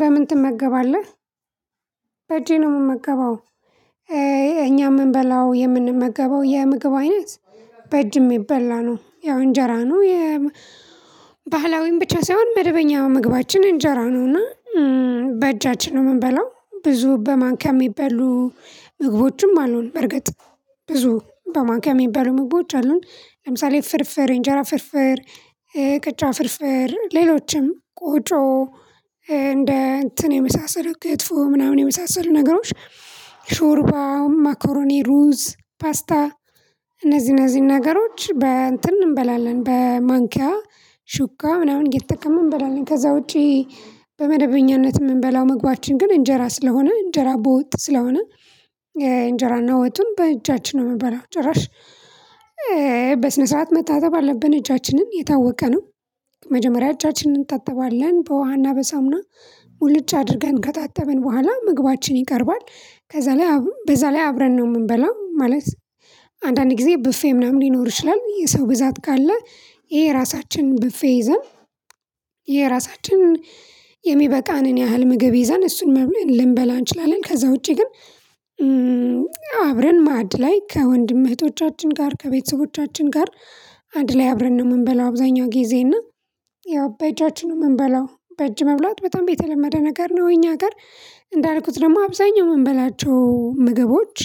በምን ትመገባለህ? በእጄ ነው የምመገበው። እኛ የምንበላው የምንመገበው የምግብ አይነት በእጅ የሚበላ ነው። ያው እንጀራ ነው የባህላዊን ብቻ ሳይሆን መደበኛ ምግባችን እንጀራ ነውና በእጃችን ነው የምንበላው። ብዙ በማኒካም የሚባሉ ምግቦችም አሉን በርግጥ ብዙ በማኒካም የሚባሉ ምግቦች አሉን። ለምሳሌ ፍርፍር የእንጀራ ፍርፍር ቅርጫ ፍርፍር ሌሎችም ቆጮ እንደ እንትን የመሳሰሉ ክትፎ ምናምን የመሳሰሉ ነገሮች። ሾርባ መኮሮኒ ሩዝ ፓስታ። እነዚህ እነዚህን ነገሮች በእንትን እንበላለን በማንኪያ ሹኪያ ምናምን እየተጠቀምን እንበላለን። ከዛ ውጪ። በመደበኛነት ምንበላው መግባችን ግን እንጀራ ስለሆነ እንጀራ በወጥ ስለሆነ እንጀራና ወጡን በእጃችን ነው የምንበላው። ጭራሽ በስነ ሰዓት መታጠብ አለብን እጃችንን የታወቀ ነው። መጀመሪያ እጃችንን እንታጠባለን በውሃና በሳሙና ሙሉጭ አድርገን ከታተመን በኋላ ምግባችን ይቀርባል። ከዛ ላይ በዛ ላይ አብረን ነው የምንበላው ማለት። አንዳንድ ጊዜ ብፌ ምናምን ሊኖር ይችላል የሰው ብዛት ካለ የየራሳችን ብፌ ይዘን የራሳችን የሚበቃንን ያህል ምግብ ይዘን እሱን ልንበላ እንችላለን። ከዛ ውጪ ግን አብረን ማድ ላይ ከወንድም እህቶቻችን ጋር ከቤተሰቦቻችን ጋር። አንድ ላይ አብረን ነው የምንበላው አብዛኛው ጊዜ እና ያው በእጃችን ነው የምንበላው። በእጅ መብላት በጣም የተለመደ ነገር ነው እኛ አገር እንዳልኩት ደግሞ አብዛኛው የምንበላቸው ምግቦች።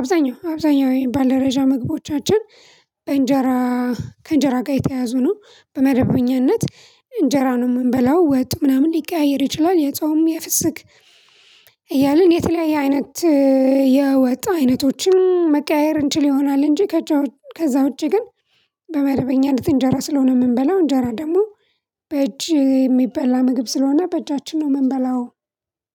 አብዛኛው አብዛኛው የባለደጃ ምግቦቻችን እንጀራ ከእንጀራ ጋር የተያዙ ነው። በመደበኛነት እንጀራ ነው የምንበላው ወጡ ምናምን ሊቀያየር ይችላል የጾም የፍስክ እያልን የተለያየ አይነት የወጥ አይነቶችን መቀያየር እንችል ይሆናል። እንጂ ከዛ ውጪ ግን በመደበኛነት እንጀራ ስለሆነ የምንበላው እንጀራ ደግሞ በእጅ የሚበላ ምግብ ስለሆነ በእጃችን ነው የምንበላው።